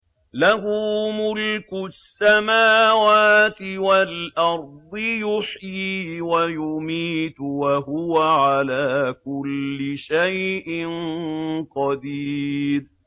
لَهُ مُلْكُ السَّمَاوَاتِ وَالْأَرْضِ ۖ يُحْيِي وَيُمِيتُ ۖ وَهُوَ عَلَىٰ كُلِّ شَيْءٍ قَدِيرٌ